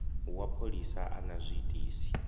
wa pholisa a na zwiitisi